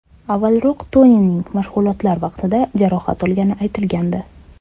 Avvalroq Tonining mashg‘ulotlar vaqtida jarohat olgani aytilgandi.